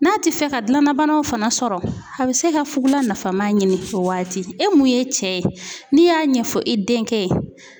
N'a ti fɛ ka gilanna banaw fana sɔrɔ a bi se ka fugula nafama ɲini o waati. E mun ye cɛ ye n'i y'a ɲɛfɔ i denkɛ ye